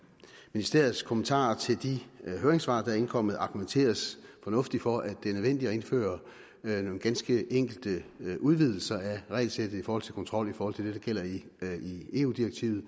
ministeriets kommentarer til de høringssvar der er indkommet argumenteres fornuftigt for at det er nødvendigt at indføre nogle ganske enkelte udvidelser af regelsættet for kontrol i forhold til det der gælder i eu direktivet